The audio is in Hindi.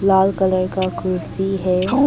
लाल कलर का कुर्सी है।